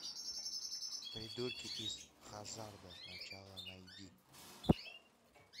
придурки из хаззарда начало найди